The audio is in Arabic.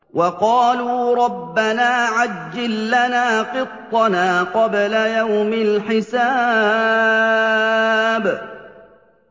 وَقَالُوا رَبَّنَا عَجِّل لَّنَا قِطَّنَا قَبْلَ يَوْمِ الْحِسَابِ